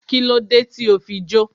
Kílódé tí o fi jó?